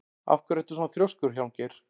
Af hverju ertu svona þrjóskur, Hjálmgeir?